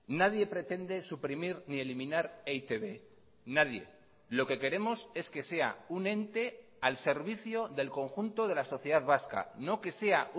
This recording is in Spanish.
nadie pretende suprimir ni eliminar e i te be nadie lo que queremos es que sea un ente al servicio del conjunto de la sociedad vasca no que sea